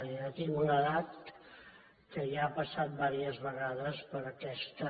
jo ja tinc una edat que ja ha passat diverses ve gades per aquesta